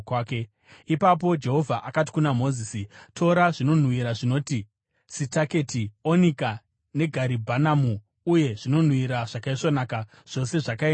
Ipapo Jehovha akati kuna Mozisi, “Tora zvinonhuhwira zvinoti sitaketi, onika negaribhanamu, uye zvinonhuhwira zvakaisvonaka, zvose zvakaenzana,